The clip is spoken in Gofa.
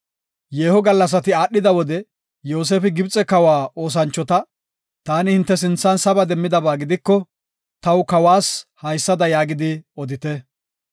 Yeeho gallasati aadhida wode, Yoosefi Gibxe kawa oosanchota, “Taani hinte sinthan saba demmidaba gidiko, taw kawas haysada yaagidi odite.